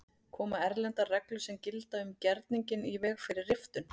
Koma erlendar reglur sem gilda um gerninginn í veg fyrir riftun?